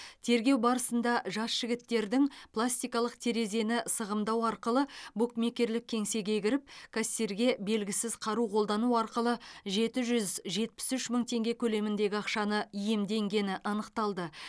тергеу барысында жас жігіттердің пластикалық терезені сығымдау арқылы букмекерлік кеңсеге кіріп кассирге белгісіз қару қолдану арқылы жеті жүз жетпіс үш мың теңге көлеміндегі ақшаны иемденгені анықталды